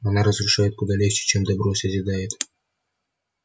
оно разрушает куда легче чем добро созидает